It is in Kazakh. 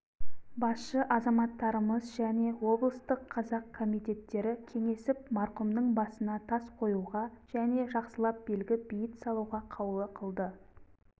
басшы азаматтарымыз және облыстық қазақ комитеттері кеңесіп марқұмның басына тас қоюға және жақсылап белгі бейіт салуға қаулы қылды